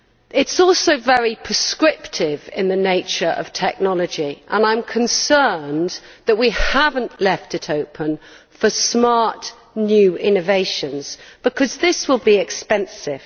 It is also very prescriptive in the nature of its technology, and I am concerned that we have not left it open for smart new innovations, because it will be expensive.